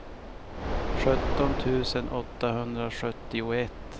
sjutton tusen åttahundrasjuttioett